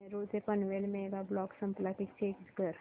नेरूळ ते Panvel mega block संपला का चेक कर